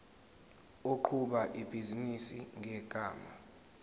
oqhuba ibhizinisi ngegama